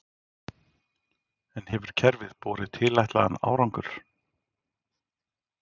En hefur kerfið borið tilætlaðan árangur?